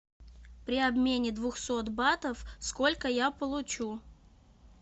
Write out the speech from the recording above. при обмене двухсот батов сколько я получу